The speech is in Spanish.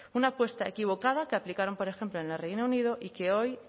una apuesta equivocada que aplicaron por ejemplo en el reino unido y que hoy